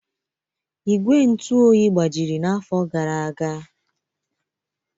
Ígwè ntụ oyi gbajiri n'afọ gara aga.